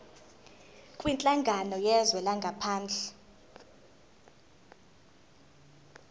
kwinhlangano yezwe langaphandle